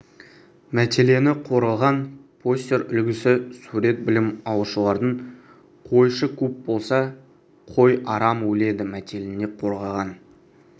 мәтеліне қорғаған постер үлгісі сурет білім алушылардың қойшы көп болса қой арам өледі мәтеліне қорғаған